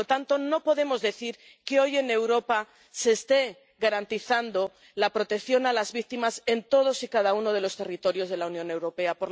Y, por lo tanto, no podemos decir que hoy en Europa se esté garantizando la protección a las víctimas en todos y cada uno de los territorios de la Unión Europea.